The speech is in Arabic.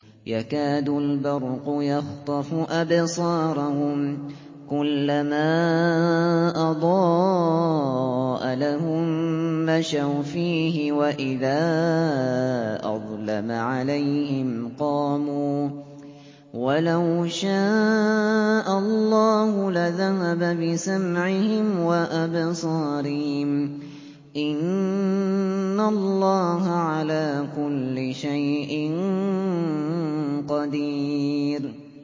يَكَادُ الْبَرْقُ يَخْطَفُ أَبْصَارَهُمْ ۖ كُلَّمَا أَضَاءَ لَهُم مَّشَوْا فِيهِ وَإِذَا أَظْلَمَ عَلَيْهِمْ قَامُوا ۚ وَلَوْ شَاءَ اللَّهُ لَذَهَبَ بِسَمْعِهِمْ وَأَبْصَارِهِمْ ۚ إِنَّ اللَّهَ عَلَىٰ كُلِّ شَيْءٍ قَدِيرٌ